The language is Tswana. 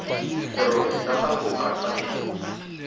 serori sa gago ka tshwanelo